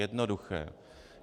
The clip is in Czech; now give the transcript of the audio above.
Jednoduché.